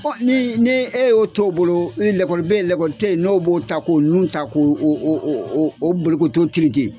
Ɔ ni ni e y'o t bolo i lakɔli bɛ yen, lakɔli tɛ yen ,n'o b'o ta k'o nu ta, k'o bolokoto tereke.